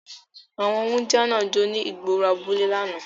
Awọn wundia náa jo ni igboro abule lánà